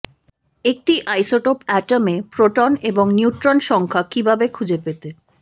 একটি isotope atom এ proton এবং নিউট্রন সংখ্যা কিভাবে খুঁজে পেতে